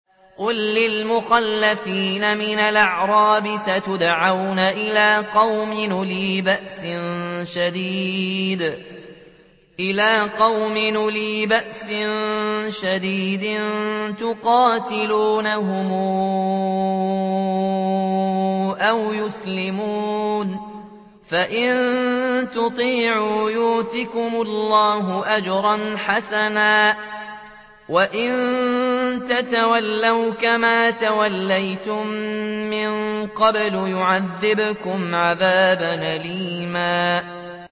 قُل لِّلْمُخَلَّفِينَ مِنَ الْأَعْرَابِ سَتُدْعَوْنَ إِلَىٰ قَوْمٍ أُولِي بَأْسٍ شَدِيدٍ تُقَاتِلُونَهُمْ أَوْ يُسْلِمُونَ ۖ فَإِن تُطِيعُوا يُؤْتِكُمُ اللَّهُ أَجْرًا حَسَنًا ۖ وَإِن تَتَوَلَّوْا كَمَا تَوَلَّيْتُم مِّن قَبْلُ يُعَذِّبْكُمْ عَذَابًا أَلِيمًا